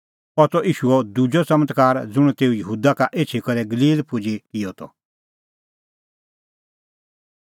अह त ईशूओ दुजअ च़मत्कार ज़ुंण तेऊ यहूदा का एछी करै गलील पुजी किअ त